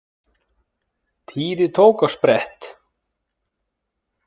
Týri tók á sprett.